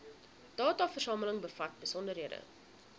dataversameling bevat besonderhede